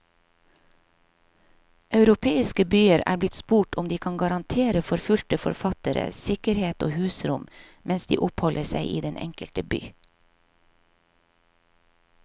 Europeiske byer er blitt spurt om de kan garantere forfulgte forfattere sikkerhet og husrom mens de oppholder seg i den enkelte by.